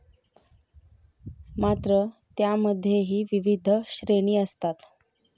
मात्र त्यामध्येही विविध श्रेणी असतात.